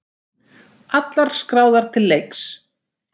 Allar skráðar til leiks